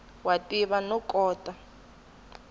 wa tiva no kota ku